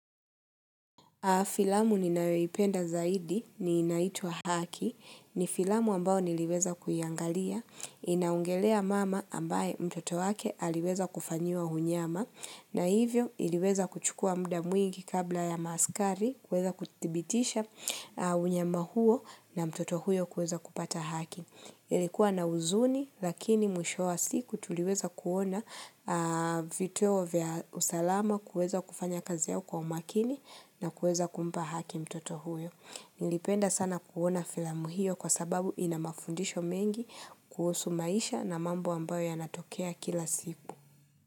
Filamu ninayoipenda zaidi ni inaitwa haki ni filamu ambao niliweza kuiangalia inaongelea mama ambaye mtoto wake aliweza kufanyiwa unyama na hivyo iliweza kuchukua mda mwingi kabla ya maaskari kuweza kuthibitisha unyama huo na mtoto huyo kweza kupata haki. Ilikua na huzuni lakini mwisho wa siku tuliweza kuona vituo vya usalama kuweza kufanya kazi yao kwa umakini na kuweza kumpa haki mtoto huyo. Nilipenda sana kuona filamuhio kwa sababu ina mafundisho mengi kuhusu maisha na mambo ambayo ya natokea kila siku.